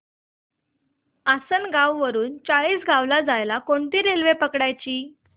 आसनगाव वरून चाळीसगाव ला जायला कोणती रेल्वे पकडायची